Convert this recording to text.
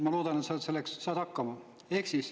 Ma loodan, et sa saad hakkama.